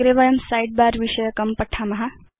अग्रे वयं साइडबार विषयकं पश्याम